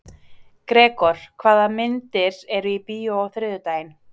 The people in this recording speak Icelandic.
Gregor, hvaða myndir eru í bíó á þriðjudaginn?